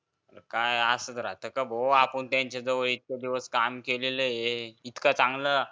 काय असं असलं तर भो आपण त्यांच्या जवळ इतकं दिवस काम केलं इतकं चांगलं